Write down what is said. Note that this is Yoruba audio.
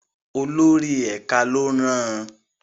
Olórí ẹ̀ka ló rán an.